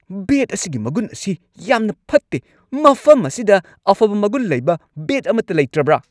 ꯕꯦꯠ ꯑꯁꯤꯒꯤ ꯃꯒꯨꯟ ꯑꯁꯤ ꯌꯥꯝꯅ ꯐꯠꯇꯦ꯫ ꯃꯐꯝ ꯑꯁꯤꯗ ꯑꯐꯕ ꯃꯒꯨꯟ ꯂꯩꯕ ꯕꯦꯠ ꯑꯃꯠꯇ ꯂꯩꯇ꯭ꯔꯕ꯭ꯔ?